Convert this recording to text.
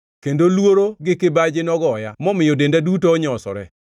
kendo luoro gi kibaji nogoya momiyo denda duto onyosore.